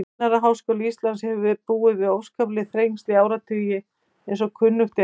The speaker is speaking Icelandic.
Kennaraháskóli Íslands hefur búið við óskapleg þrengsli í áratugi, eins og kunnugt er.